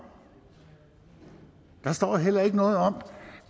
der står heller ikke noget om